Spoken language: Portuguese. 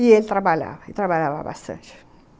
E ele trabalhava, ele trabalhava bastante.